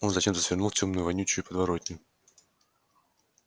он зачем-то свернул в тёмную вонючую подворотню